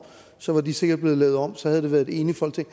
så var de sikkert blevet lavet om og så havde det været et enigt folketing